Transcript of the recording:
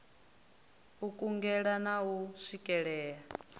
u kungela na u swikelea